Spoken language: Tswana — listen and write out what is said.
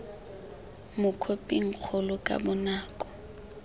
mo khophing kgolo ka bonako